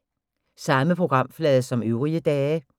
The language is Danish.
Samme programflade som øvrige dage